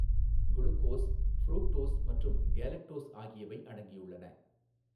Glucose fructose மற்றும் galactose ஆகியவை அடங்கியுள்ளன.